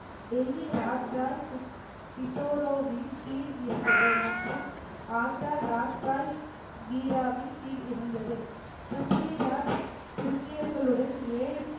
டெல்லி ராஜாய் பிதோரோவின் கீழ் இருந்தது மற்றும் ஆக்ரா ராஜாய் வீராவின் கீழ் இருந்தது பிரிதிவிராஜ் துருக்கியர்களுடன் ஏழு